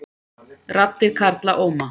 Raddir karla óma